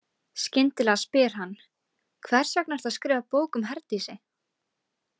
Skyndilega spyr hann: Hvers vegna ertu að skrifa bók um Herdísi?